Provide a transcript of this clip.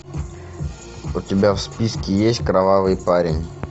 у тебя в списке есть кровавый парень